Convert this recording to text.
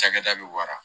Cakɛda bɛ wara